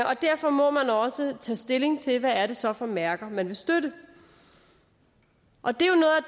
og derfor må man også tage stilling til hvad det så er for mærker man vil støtte og det